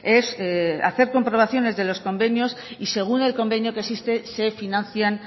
es hacer comprobaciones de los convenios y según el convenio que exista se financian